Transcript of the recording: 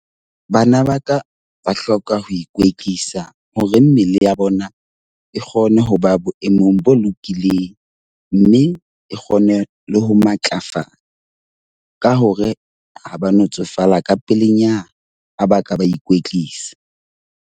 Bana ba ka ba hloka ho ikwetlisa hore mmele ya bona e kgone ho ba boemong bo lokileng. Mme e kgone le ho matlafala ka hore ha ba no tsofala ka pelenyana ha ba ka ba ikwetlisa.